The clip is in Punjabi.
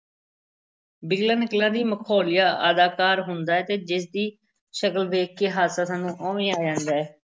ਬਿਗਲਾ ਨਕਲਾਂ ਦਾ ਮਖੌਲੀਆ ਅਦਾਕਾਰ ਹੁੰਦਾ ਹੈ ਤੇ ਜਿਸ ਦੀ ਸ਼ਕਲ ਵੇਖ ਕੇ ਹਾਸਾ ਸਾਨੂੰ ਉਵੇਂ ਹੀ ਆ ਜਾਂਦਾ ਹੈ।